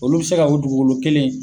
Olu bi se ka o dugukolo kelen